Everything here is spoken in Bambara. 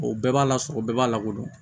O bɛɛ b'a la sɔrɔ bɛɛ b'a lakodɔn